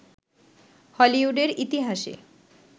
হলিউডের ইতিহাসে